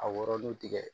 A wɔrɔlen tigɛ